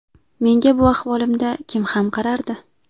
Menga bu ahvolimda kim ham qarardi”.